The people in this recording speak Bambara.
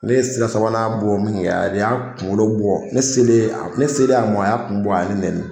Ne ye sira sabanan bɔ min kɛ a y'a kunkolo bɔ ne selen a ma a y'a kun bɔ a ye ne neni